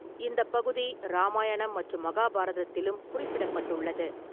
இந்த பகுதி ராமாயணம் மற்றும் மகாபாரதத்திலும் குறிப்பிடப்பட்டுள்ளது.